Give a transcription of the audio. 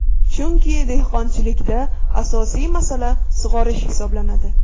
Chunki dehqonchilikda asosiy masala sug‘orish hisoblanadi.